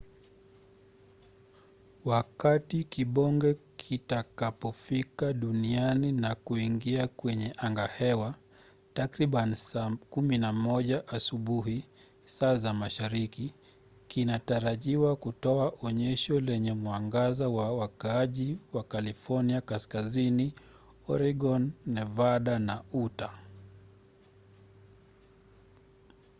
wakati kibonge kitakapofika duniani na kuingia kwenye angahewa takriban saa 11 asubuhi saa za mashariki kinatarajiwa kutoa onyesho lenye mwangaza kwa wakaaji wa california kaskazini oregon nevada na utah